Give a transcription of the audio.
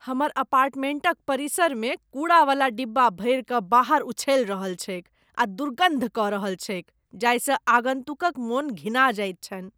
हमर अपार्टमेंटक परिसरमे कूड़ावला डिब्बा भरि कऽ बाहर उछलि रहल छैक आ दुर्गन्ध कऽ रहल छैक जाहिसँ आगन्तुकक मन घिना जाइत छनि।